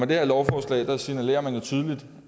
det her lovforslag signalerer man jo tydeligt